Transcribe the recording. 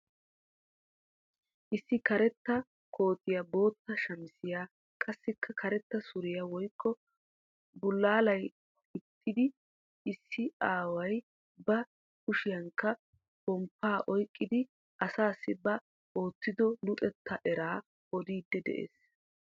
Issi karetta kootiyaa bootta shamisiyaa qassikka karetta suriyaa woykko bulaaliyaa gixxidi issi aaway ba kushiyaanikka pomppaa oyqqidi asaasi ba oottido luxettaa eraa odiidi de'ees.